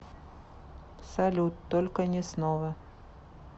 салют только не снова